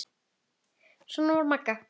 Svona var Magga.